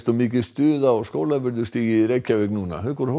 mikið stuð á Skólavörðustíg í Reykjavík núna haukur